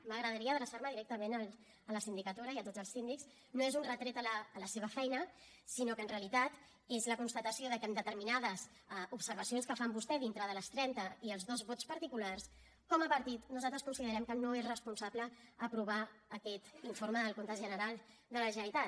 m’agradaria adreçar me directament a la sindicatura i a tots els síndics no és un retret a la seva feina sinó que en realitat és la constatació de que en determinades observacions que fan vostès dintre de les trenta i els dos vots particulars com a partit nosaltres considerem que no és responsable aprovar aquest informe del compte general de la generalitat